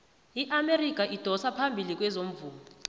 iamerika idosa phambili kezomvumo